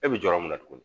E bɛ jɔyɔrɔ min na tuguni